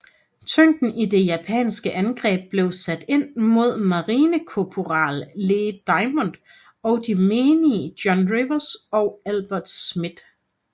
Tyngden i det japanske angreb blev sat ind mod marinekorporal Lee Diamond og de menige John Rivers og Albert Schmid